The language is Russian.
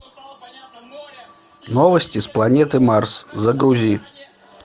новости с планеты марс загрузи